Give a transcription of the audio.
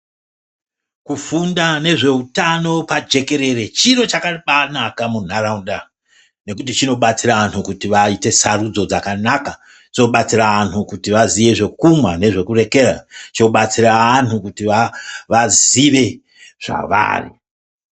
Kufunda nezvehutano pajekerere chiro changa chakanaka munharaunda nekuti chinobatsira antu kuti aite a Sarudzo dzakanaka zvobatsira antu kuti vazive zvekumwa nezvekurekera zvobatsira antu azive zvavari.